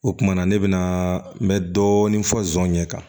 O kumana ne bɛna n bɛ dɔɔnin fɔ zon ɲɛ kan